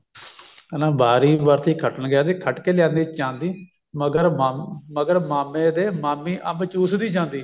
ਕਹਿੰਦਾ ਵਾਰੀ ਵਰਸੀ ਖੱਟਣ ਗਿਆ ਸੀ ਖੱਟ ਕੇ ਲਿਆਂਦੀ ਚਾਂਦੀ ਮਗਰ ਮਾ ਮਗਰ ਮਾਮੇ ਦੇ ਮਾਮੀ ਅੰਬ ਚੂਸਦੀ ਜਾਂਦੀ